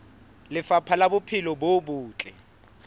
lefapha la bophelo bo botle